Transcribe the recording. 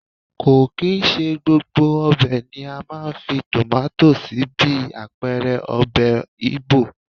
Kò kì í ṣe gbogbo ọbẹ̀ ni a máa ń fi tomato sí bí àpẹẹrẹ ọbẹ̀ Igbo.